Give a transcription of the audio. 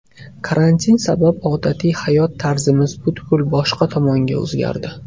Karantin sabab odatiy hayot tarzimiz butkul boshqa tomonga o‘zgardi.